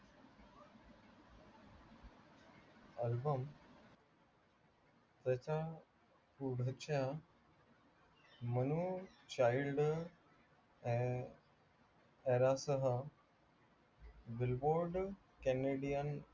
album त्याचा पुढच्या मनो child सह billboard canadian